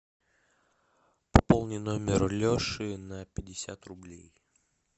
пополни номер леши на пятьдесят рублей